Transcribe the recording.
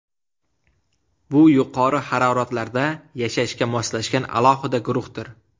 Bu yuqori haroratlarda yashashga moslashgan alohida guruhdir.